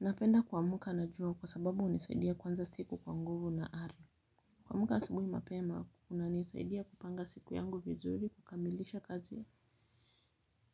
Napenda kuamka na jua kwa sababu hunisaidia kuanza siku kwa nguvu na kuamka asubuhi mapema kuna nisaidia kupanga siku yangu vizuri kukamilisha kazi